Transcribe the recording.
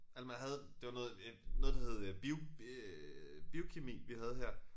Eller man havde det var noget øh noget der hed øh bio øh biokemi vi havde her